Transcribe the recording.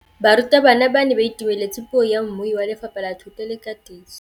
Barutabana ba ne ba itumeletse puô ya mmui wa Lefapha la Thuto le Katiso.